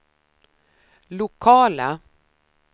lokala